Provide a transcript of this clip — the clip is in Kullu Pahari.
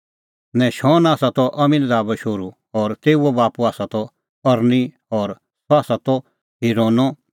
नहशोन त अमीनादाबो शोहरू और तेऊओ बाप्पू त अरनी और सह आसा त हिरोनो शोहरू और सह आसा त फिरिसो शोहरू ता फिरिसो बाप्पू त यहूदा